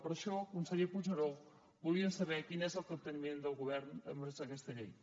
per això conseller puigneró volíem saber quin és el capteniment del govern envers aquesta llei